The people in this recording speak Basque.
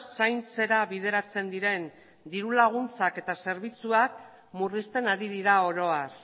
zaintzera bideratzen diren diru laguntzak eta zerbitzuak murrizten ari dira oro har